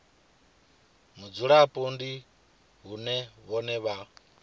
mudzulapo ndi vhone vhane vha